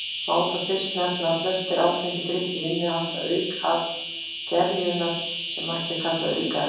Má þar fyrst nefna að flestir áfengir drykkir innihalda aukaafurðir gerjunar sem mætti kalla aukaefni.